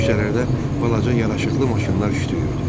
Küçələrdə balaca yaraşıqlı maşınlar şütüyürdü.